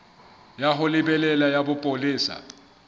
ya ho lebela ya bopolesa